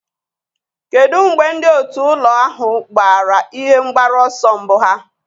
Kedu mgbe ndị otu ụlọ ahụ gbara ihe mgbaru ọsọ mbụ ha?